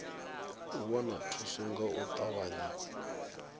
wana thuso nga u ṱavhanya